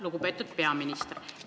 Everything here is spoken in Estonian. Lugupeetud peaminister!